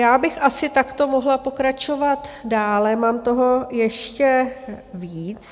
Já bych asi takto mohla pokračovat dále, mám toho ještě víc.